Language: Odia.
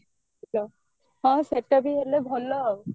ହଁ ସେଟା ବି ହେଲେ ଭଲ ଆଉ